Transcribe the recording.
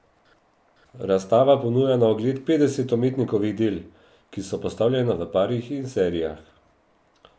Razstava ponuja na ogled petdeset umetnikovih del, ki so postavljena v parih in serijah.